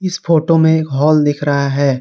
इस फोटो में हॉल दिख रहा है।